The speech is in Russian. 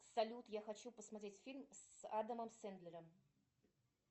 салют я хочу посмотреть фильм с адамом сендлером